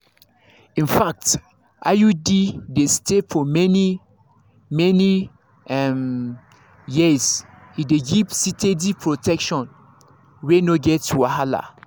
infact iud dey stay many-many um years e dey give steady protection wey no get wahala.